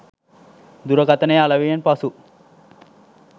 දුරකථනය අලෙවියෙන් පසු